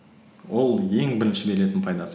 ол ең бірінші беретін пайдасы